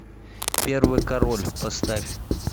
первый король поставь